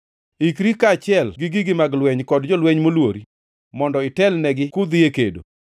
“ ‘Ikri, in kaachiel gi gigi mag lweny kod jolweny molwori mondo itelnegi kudhi e kedo.